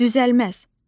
Düzəlməz.